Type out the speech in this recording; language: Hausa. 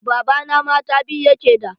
Babana mata biyu yake da.